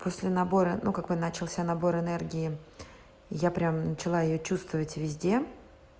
после набора ну как вы начался набор энергии я прям начала её чувствовать везде